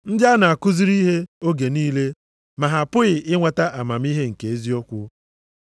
Ndị a na-akụziri ihe oge niile, ma ha apụghị inweta amamihe nke eziokwu.